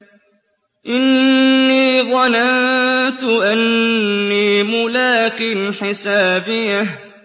إِنِّي ظَنَنتُ أَنِّي مُلَاقٍ حِسَابِيَهْ